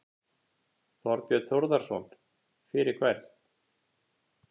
Þorbjörn Þórðarson: Fyrir hvern?